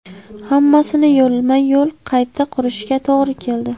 Hammasini yo‘lma-yo‘l qayta qurishga to‘g‘ri keldi.